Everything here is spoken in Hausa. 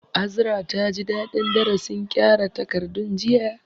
Azra taji dadin darasin kyara takardun jiya